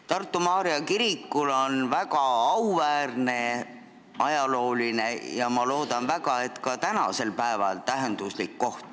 Tartu Maarja kirikul on meie ajaloos väga auväärne koht ja ma loodan väga, et tema tähendus on ka tänasel päeval suur.